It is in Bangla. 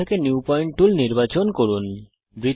টুলবার থেকে নিউ পয়েন্ট টুল নির্বাচন করুন